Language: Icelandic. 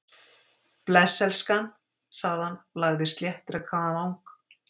Bless, elskan- sagði hann, lagði sléttrakaðan vang